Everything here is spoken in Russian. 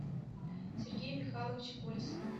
сергея михайловича колесова